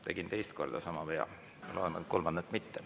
Tegin teist korda sama vea, loodan, et kolmandat korda ei tee.